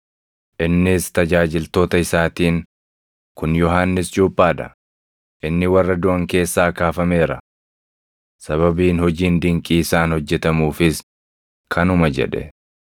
innis tajaajiltoota isaatiin, “Kun Yohannis Cuuphaa dha; inni warra duʼan keessaa kaafameera! Sababiin hojiin dinqii isaan hojjetamuufis kanuma” jedhe.